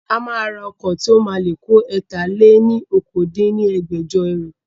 A máa ra ọkọ̀ tí ó máa le kó ẹ̀ta-lé-ní-okòó dín ní ẹgbẹ́jọ ẹrú